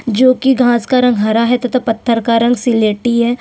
जो कि घास का रंग हरा है तथा पत्थर का रंग सिलेटी है।